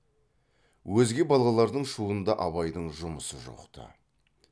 өзге балалардың шуында абайдың жұмысы жоқ ты